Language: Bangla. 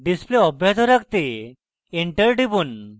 display অব্যাহত রাখতে enter টিপুন